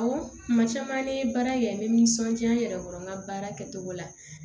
Awɔ kuma caman ne ye baara in kɛ n bɛ nisɔndiya n yɛrɛ kɔrɔ n ka baara kɛcogo la